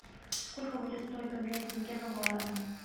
сколько будет стоить поменять тенге на гуарани